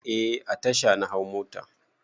Eh a tasha na hau mota.